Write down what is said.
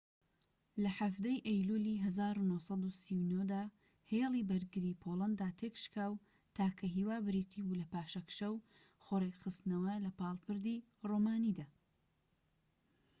لە 17ی ئەیلولی ١٩٣٩ دا ‌هێلی بەرگریی پۆڵەندا تێكشکا و تاکە هیوا بریتی بوو لە پاشەکشە و خۆ ڕێکخستنەوە لەپاڵ پردی رۆمانیدا